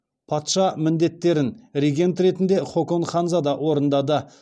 патша міндеттерін регент ретінде хокон ханзада орындады